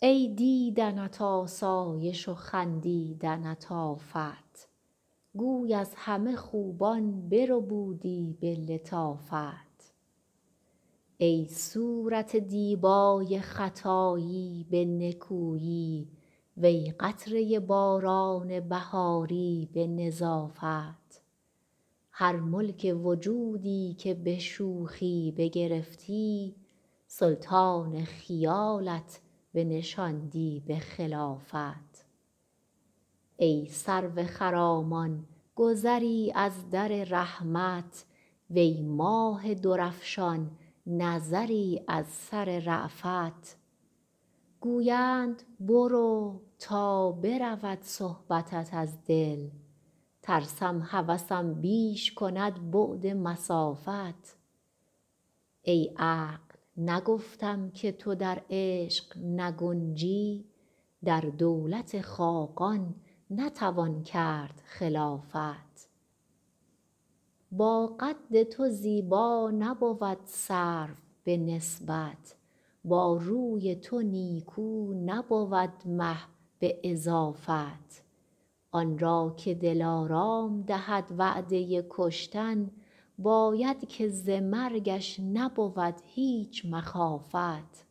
ای دیدنت آسایش و خندیدنت آفت گوی از همه خوبان بربودی به لطافت ای صورت دیبای خطایی به نکویی وی قطره باران بهاری به نظافت هر ملک وجودی که به شوخی بگرفتی سلطان خیالت بنشاندی به خلافت ای سرو خرامان گذری از در رحمت وی ماه درفشان نظری از سر رأفت گویند برو تا برود صحبتت از دل ترسم هوسم بیش کند بعد مسافت ای عقل نگفتم که تو در عشق نگنجی در دولت خاقان نتوان کرد خلافت با قد تو زیبا نبود سرو به نسبت با روی تو نیکو نبود مه به اضافت آن را که دلارام دهد وعده کشتن باید که ز مرگش نبود هیچ مخافت